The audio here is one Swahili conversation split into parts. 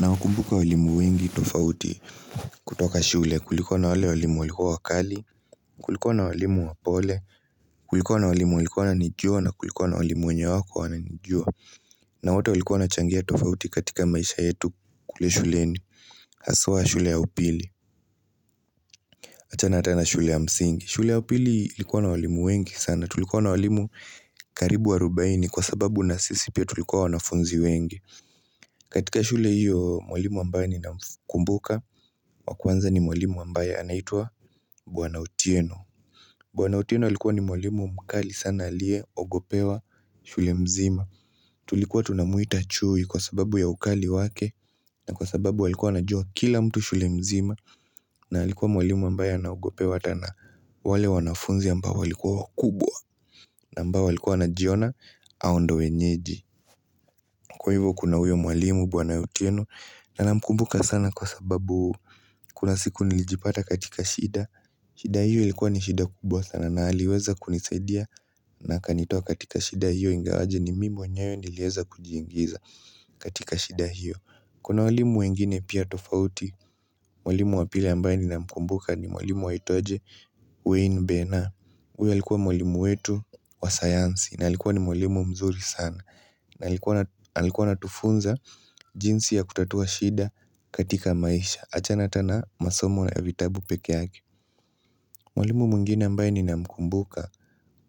Na wakumbuka walimu wengi tofauti kutoka shule. Kulikuwa na walimu walikua wakali, kulikona walimu wapole, kulikona walimu walikua nanijua na kulikona walimu wenye wako wananijua. Na wote walikua nachangia tofauti katika maisha yetu kule shuleni. Aswa shule ya upili. Achana ata na shule ya msingi. Shule ya upili likuwa na walimu wengi sana. Tulikua na walimu karibu wa rubaini kwa sababu na sisi pia tulikua wanafunzi wengi. Katika shule hiyo mwalimu ambaye ni na kumbuka Wakuanza ni mwalimu ambaye anaitua bwana otieno Bwana otieno walikuwa ni mwalimu mkali sana alie ogopewa shule mzima Tulikuwa tunamuita chui kwa sababu ya ukali wake na kwa sababu walikuwa na joa kila mtu shule mzima na walikuwa mwalimu ambaye anagopewa tana wale wanafunzi ambaye walikuwa kubwa ambao walikuwa najiona hao ndo wenyeji Kwa hivyo kuna uyo mwalimu bwana otieno na na mkumbuka sana kwa sababu kuna siku nilijipata katika shida shida hiyo ilikuwa ni shida kubwa sana na haliweza kunisedia na kanitua katika shida hiyo ingawaje ni mimi mwenyewe nilieza kujiingiza katika shida hiyo Kuna walimu wengine pia tofauti, walimu wa pili ambaye ni na mkumbuka ni walimu wa itoaje Wayne Bena uwe alikuwa walimu wetu wa science na alikuwa ni walimu mzuri sana na halikuwa natufunza jinsi ya kutatua shida katika maisha Achana tana masomo na vitabu pekee yake Mwalimu mwngine ambaye ni namkumbuka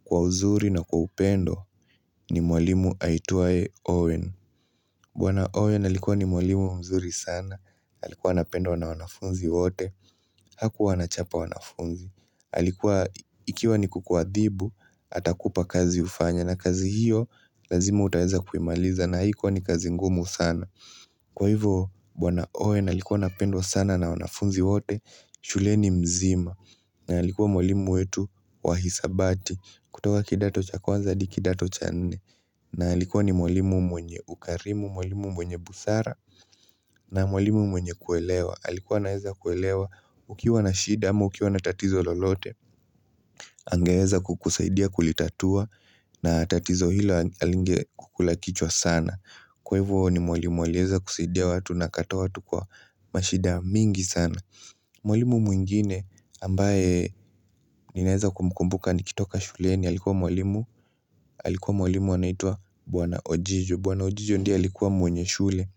kwa uzuri na kwa upendo ni mwalimu haituwa Owen Bwana Owen alikuwa ni mwalimu mzuri sana alikuwa napendwa na wanafunzi wote Hakuwa anachapa wanafunzi Halikuwa ikiwa ni kukuwathibu atakupa kazi ufanya na kazi hiyo lazima utaweza kuimaliza na hikuwa ni kazi ngumu sana Kwa hivyo bwwana owen alikuwa apendwa sana na wanafunzi wote shule ni mzima na halikuwa molimu wetu wahisabati kutoka kidato cha kwanza hadi kidato cha nene na halikuwa ni molimu mwenye ukarimu, molimu mwenye busara na mwalimu mwenye kuelewa Halikuwa na heza kuelewa ukiwa na shida ama, ukiwa na tatizo lolote Angeweza kukusaidia kulitatua na tatizo hilo halinge kukulakichwa sana Kwa ivyo ni mwalimu alieza kusaidia watu na kutoa watu kwa mashida mingi sana Mwalimu mwingine ambaye ninaeza kumkumbuka nikitoka shule ni halikuwa mwalimu Halikuwa mwalimu wanaitua buwana ojijo Buwana ojijo ndia halikuwa mwenye shule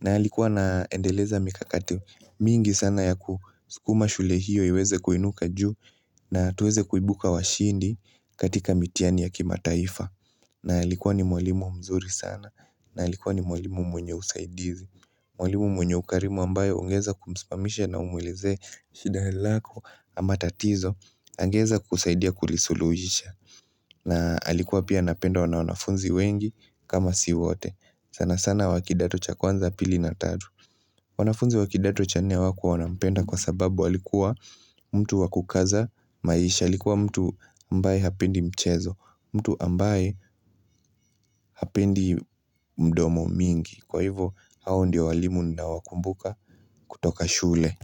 na halikuwa naendeleza mikakati mingi sana ya kusukuma shule hiyo Uweweze kuinuka juu na tuweze kuibuka washindi katika mitiani ya kima taifa na likuwa ni mwalimu mzuri sana na likuwa ni mwalimu mwenye usaidizi Mwalimu mwenye ukarimu ambayo ungeza kumspamisha na umwilize shida helako amatatizo Angeza kusaidia kulisulujisha na likuwa pia napenda wana wanafunzi wengi kama si wote sana sana wakidato cha kwanza pili na tatu wanafunzi wakidato cha nne wakua wanapenda kwa sababu walikuwa mtu wakukaza maisha likuwa mtu ambaye hapendi mchezo mtu ambaye hapendi mdomo mingi Kwa hivo hao ndio walimu na wakumbuka kutoka shule.